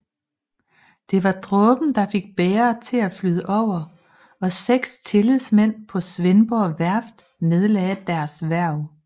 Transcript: Det var dråben der fik bægeret til at flyde over og 6 tillidsmænd på Svendborg Værft nedlagde deres hverv